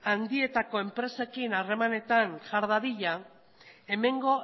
handietako enpresekin harremanetan jar dadila hemengo